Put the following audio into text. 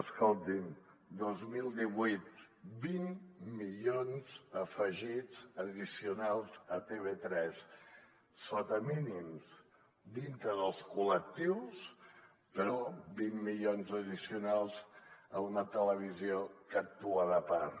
escolti’m dos mil divuit vint milions afegits addicionals a tv3 sota mínims dintre dels col·lectius però vint milions addicionals a una televisió que actua de part